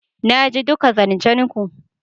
Naji duka zancen ku.